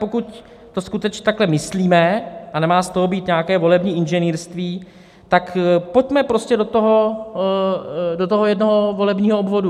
Pokud to skutečně takhle myslíme, a nemá z toho být nějaké volební inženýrství, tak pojďme prostě do toho jednoho volebního obvodu.